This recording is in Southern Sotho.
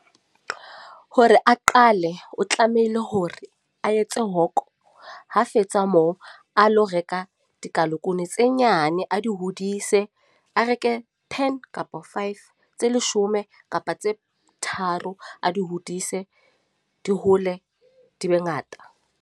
Hore a qale, o tlamehile hore a etse hoko, ha fetsa moo a lo reka dikalakunu tse nyane. A di hodise, a reke ten kapa five. Tse leshome kapa tse tharo. A di hodise, di hole, di be ngata.